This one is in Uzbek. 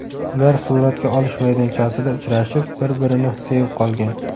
Ular suratga olish maydonchasida uchrashib, bir-birini sevib qolgan.